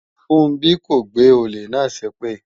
Funbí kò gbé olè náà ṣépè